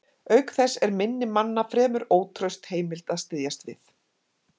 Auk þess er minni manna fremur ótraust heimild að styðjast við.